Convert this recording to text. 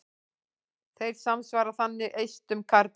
Þeir samsvara þannig eistum karla.